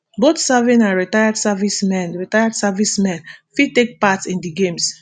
both serving and retired servicemen retired servicemen fit take part in di games